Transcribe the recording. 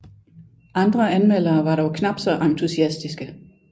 Andre anmeldere var dog knapt så entusiastiske